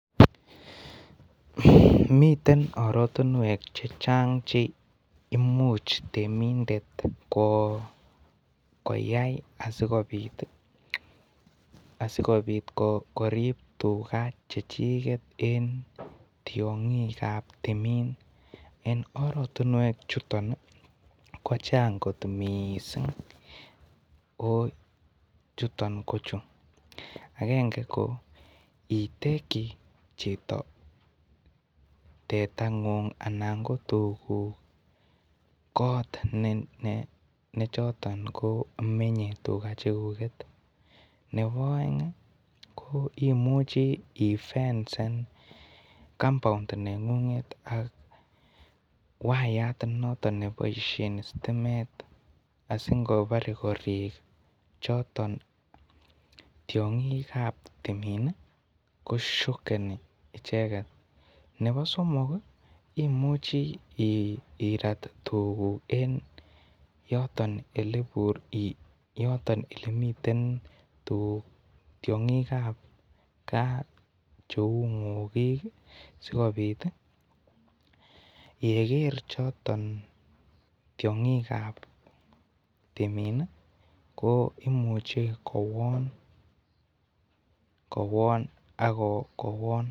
miten oratinwek chechang cheimuche temindet koyai asikobit korib tuga chechigen en tiong'ik ab timin, en oratinuek chuton ii kochang' kot missing, o chuton ko chu; agenge ko etenkyi chito teteng'ung anan ko tuguk koot nechoton ko menye tuga cheguget, nebo oeng imuchi ifensen compound neng'ung'et ak wayat noton neboisien sitimet asing'obore koriik tiong'ik choton chebo timin ii ko shokeni, nebo somok imuche irat tugukuk yoton elemiten tiong'ik ab gaa cheu ng'okik asikobit yeker choton tiong'ik ab timin ii ko imuche kowon ak kowon.